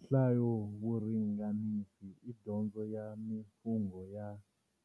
Nhlayovuriganisi i dyondzo ya mimfungo ya